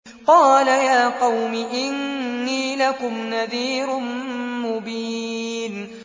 قَالَ يَا قَوْمِ إِنِّي لَكُمْ نَذِيرٌ مُّبِينٌ